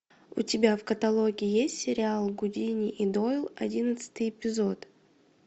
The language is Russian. у тебя в каталоге есть сериал гудини и дойл одиннадцатый эпизод